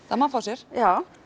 það má fá sér já